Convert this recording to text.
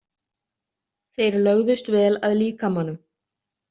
Þeir lögðust vel að líkamanum.